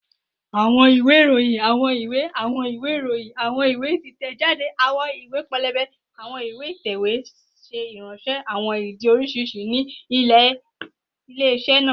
Awọn iwe iroyin, awọn iwe, awọn iwe iroyin, awọn iwe itẹjade, awọn iwe pẹlẹbẹ, ati awọn iwe itẹwe ṣe iranṣẹ awọn idi oriṣiriṣi ni ile-iṣẹ naa